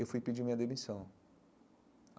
Eu fui pedir minha demissão.